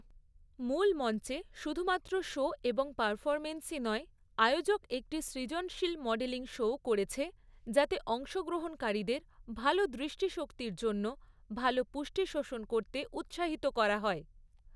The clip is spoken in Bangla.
মূল মঞ্চে, শুধুমাত্র শো এবং পারফরম্যান্সই নয়, আয়োজক একটি সৃজনশীল মডেলিং শোও করেছে যাতে অংশগ্রহণকারীদের ভাল দৃষ্টিশক্তির জন্য ভাল পুষ্টি শোষণ করতে উৎসাহিত করা হয়।